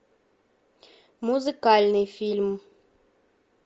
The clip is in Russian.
музыкальный фильм